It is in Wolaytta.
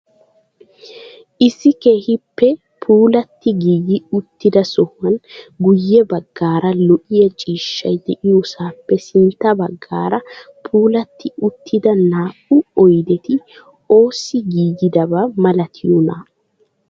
Issi keehippe puulatti giigi uttida sohuwaan guye baggaara lo"iyaa ciishshay diyoosappe sintta baggaara puulattidi uttida naa"u oydeti oossi giigidaba milatiyoonaa?